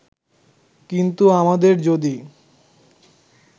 কিন্তু আমাদের যদি